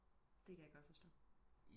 Det kan jeg godt forstå